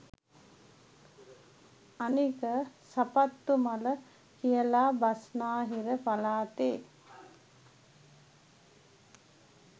අනික සපත්තු මල කියලා බස්නාහිර පලාතෙ